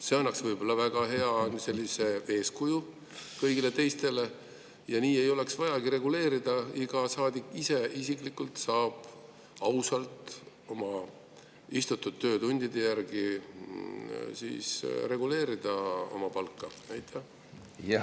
See annaks võib-olla väga head eeskuju kõigile teistele ja nii ei olekski vaja seda reguleerida, vaid iga saadik saaks isiklikult oma istutud töötundide järgi ausalt oma palka reguleerida.